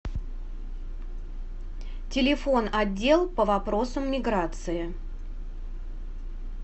телефон отдел по вопросам миграции